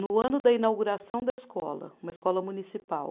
No ano da inauguração da escola, uma escola municipal.